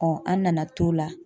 an nana t'o la.